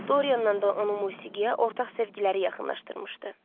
Dorianla da onun musiqiyə ortaq sevgiləri yaxınlaşdırmışdı.